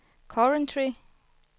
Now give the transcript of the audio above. Coventry